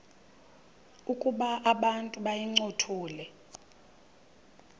ukuba abantu bayincothule